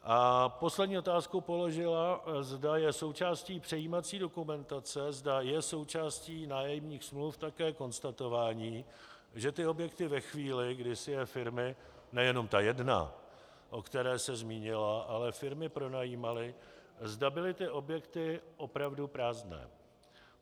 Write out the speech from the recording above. A poslední otázku položila, zda je součástí přejímací dokumentace, zda je součástí nájemních smluv také konstatování, že ty objekty ve chvíli, kdy si je firmy, nejenom ta jedna, o které se zmínila, ale firmy pronajímaly, zda byly ty objekty opravdu prázdné.